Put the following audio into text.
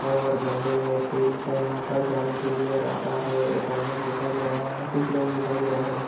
Airtel का यहाँ पर जाने के लिए रखा है एक आयना भी दिखाए दे रहा है कुछ लोग दिखाए दे रहे है|